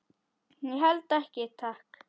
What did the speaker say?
Ég held ekki, takk.